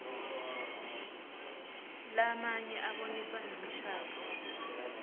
lamnye abonisa ngemishadvo